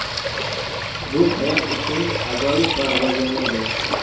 Bu hayot uchun ajoyib va rivojlangan joy.